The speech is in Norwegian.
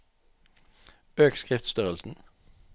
Øk skriftstørrelsen